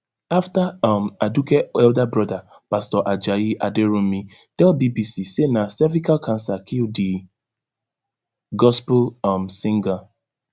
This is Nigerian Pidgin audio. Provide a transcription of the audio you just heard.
afta um aduke elder broda pastor ajayi aderounmu tell bbc say na cervical cancer kill di gospel um singer